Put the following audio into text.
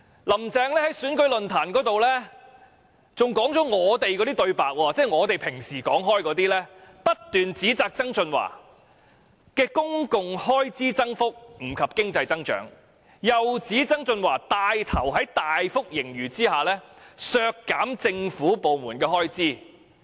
"林鄭"更在選舉論壇上說出了我們的對白，以我們平常所說的話，不斷指責曾俊華提出的公共開支增幅不及經濟增長，又指他帶頭在大幅盈餘下削減政府部門的開支。